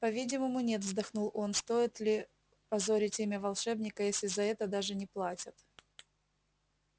по-видимому нет вздохнул он стоит ли позорить имя волшебника если за это даже не платят